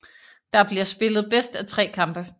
Der bliver spillet bedst af tre kampe